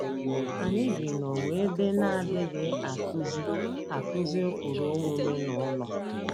Anyị bi n’ụwa ebe na - adịghị akụzi akụzi ụkpụrụ omume n’ụlọ.